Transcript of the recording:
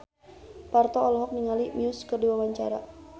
Parto olohok ningali Muse keur diwawancara